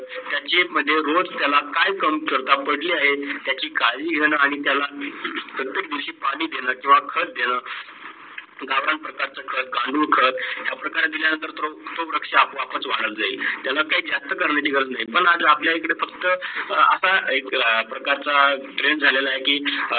या प्रकारे जो वृक्ष आपण आपलं वाढत जाईल. त्याला काही जास्त करण्याची गरज नाही, पण आज आपल्या कडे फक्त आता अह एक प्रकारचा TREND झालेला आहे की